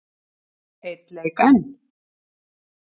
Einn leik enn?